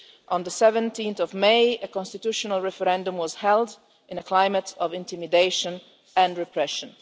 On 17 May, a constitutional referendum was held in a climate of intimidation and repression.